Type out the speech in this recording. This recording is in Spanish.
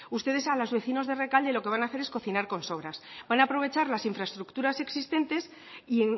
ustedes a los vecinos de rekalde lo que van a hacer es cocinar con sobras van a aprovechar las infraestructuras existentes y